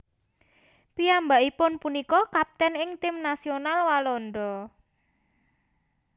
Piyambakipun punika kaptèn ing tim nasional Walanda